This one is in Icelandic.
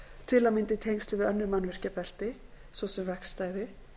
til að mynda í tengslum við önnur mannvirkjabelti svo sem vegstæði